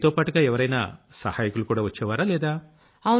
మీతోపాటుగా ఎవరైనా సహాయకులు కూడా వచ్చేవారా లేదా